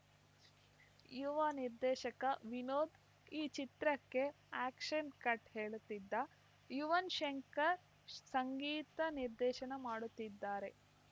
ಯುವ ನಿರ್ದೇಶಕ ವಿನೋದ್‌ ಈ ಚಿತ್ರಕ್ಕೆ ಆ್ಯಕ್ಷನ್‌ ಕಟ್‌ ಹೇಳುತ್ತಿದ್ದು ಯುವನ್‌ ಶಂಕರ್‌ ಸಂಗೀತ ನಿರ್ದೇಶನ ಮಾಡುತ್ತಿದ್ದಾರೆ